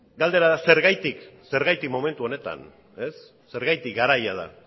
galdera da zergatik zergatik momentu honetan zergatik garaia da